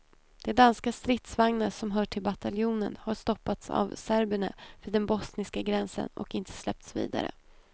De danska stridsvagnar som hör till bataljonen har stoppats av serberna vid den bosniska gränsen och inte släppts vidare.